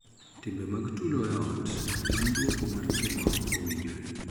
Timbe mag tulo e ot en duoko mar tim ma ok owinjore